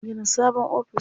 An gina sabon office.